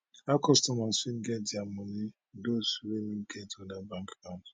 how customers fit get dia money those wey no get oda bank